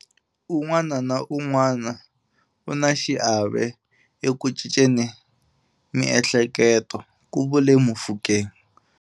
Un'wana na un'wana u na xiave eku cinceni miehleketo, ku vule Mofokeng.